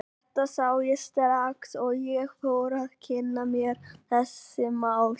Þetta sá ég strax og ég fór að kynna mér þessi mál.